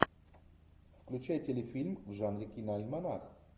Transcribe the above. включай телефильм в жанре киноальманах